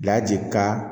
ka